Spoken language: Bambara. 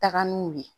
Taga n'u ye